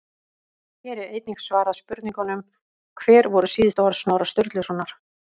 Hér er einnig svarað spurningunum: Hver voru síðustu orð Snorra Sturlusonar?